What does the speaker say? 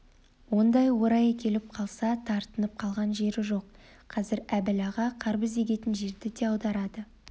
ондайда орайы келіп қалса тартынып қалған жері жоқ қазір әбіл аға қарбыз егетін жерді де аударады